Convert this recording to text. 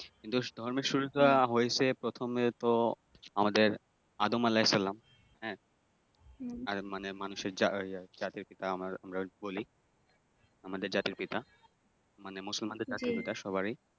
কিন্তু ধর্মের শুরুটা হয়েছে প্রথমে তো আমাদের আদম আলাহি-সাল্লাম হ্যাঁ, আর মানে মানুষের জাতীয় পিতা আমরা বলি আমাদের জাতীয় পিতা মানে মুসলমানদের জাতীর পিতা সবারই ।